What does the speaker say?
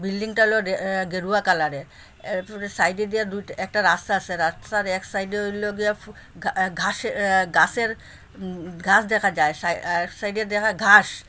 Building -টা হলো রে গেরুয়া কালার -এর এর সাইড -এ দিয়া দুইটা একটা রাস্তা আছে রাস্তার এক সাইড -এ হইল গিয়া ফু ঘা-ঘাসের আ গাছের উম ঘাস দেখা যায় আর সা আর এক সাইড -এ দেখা ঘাস।